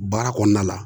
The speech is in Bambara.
Baara kɔnɔna la